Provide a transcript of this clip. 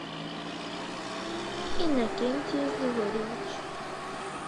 иннокентий григорьевич